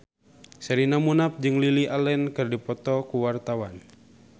Sherina Munaf jeung Lily Allen keur dipoto ku wartawan